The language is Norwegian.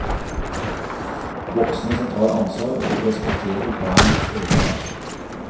Voksne som tar ansvar, og respekterer barns egenart.